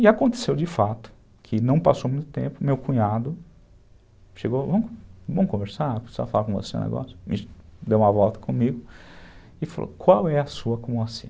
E aconteceu de fato, que não passou muito tempo, meu cunhado chegou, vamos conversar, eu preciso falar com você um negócio, deu uma volta comigo e falou, qual é a sua com o Moacir?